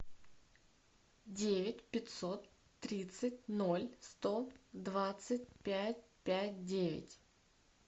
девять пятьсот тридцать ноль сто двадцать пять пять девять